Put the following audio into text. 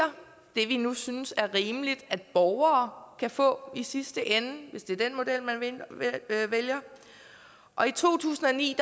vi nu synes er rimeligt at borgere kan få i sidste ende hvis det er den model man vælger og i to tusind og ni